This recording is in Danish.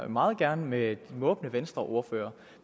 jeg meget gerne med den måbende venstreordfører